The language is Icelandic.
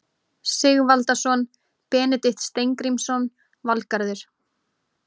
Sigvaldason, Benedikt Steingrímsson, Valgarður